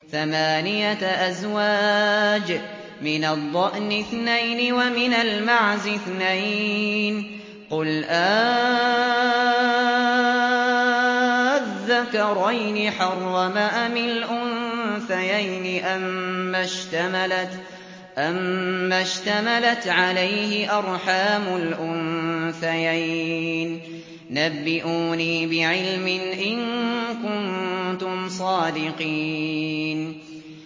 ثَمَانِيَةَ أَزْوَاجٍ ۖ مِّنَ الضَّأْنِ اثْنَيْنِ وَمِنَ الْمَعْزِ اثْنَيْنِ ۗ قُلْ آلذَّكَرَيْنِ حَرَّمَ أَمِ الْأُنثَيَيْنِ أَمَّا اشْتَمَلَتْ عَلَيْهِ أَرْحَامُ الْأُنثَيَيْنِ ۖ نَبِّئُونِي بِعِلْمٍ إِن كُنتُمْ صَادِقِينَ